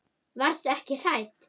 Varstu ekki hrædd?